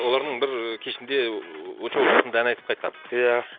олардың бір кешінде ыыы очоу жақында ән айтып қайтқан иә